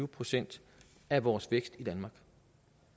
procent af vores vækst i danmark